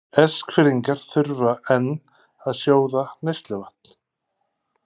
Eskfirðingar þurfa enn að sjóða neysluvatn